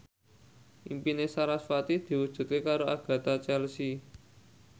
impine sarasvati diwujudke karo Agatha Chelsea